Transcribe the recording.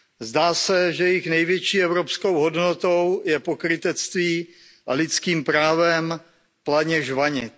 Zdá se, že jejich největší evropskou hodnotou je pokrytectví a lidským právem planě žvanit.